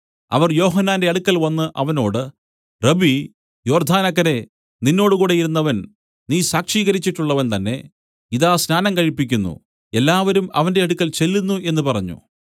അവർ യോഹന്നാന്റെ അടുക്കൽവന്ന് അവനോട് റബ്ബീ യോർദ്ദാനക്കരെ നിന്നോടുകൂടെ ഇരുന്നവൻ നീ സാക്ഷീകരിച്ചുട്ടുള്ളവൻ തന്നേ ഇതാ സ്നാനം കഴിപ്പിക്കുന്നു എല്ലാവരും അവന്റെ അടുക്കൽ ചെല്ലുന്നു എന്നു പറഞ്ഞു